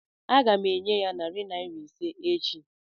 Aga m enye ya narị naịra ise echi.